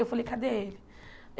Eu falei, cadê ele?